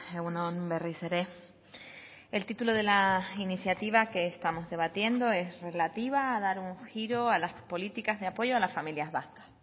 egun on berriz ere el título de la iniciativa que estamos debatiendo es relativo a dar un giro a las políticas de apoyo a las familias vascas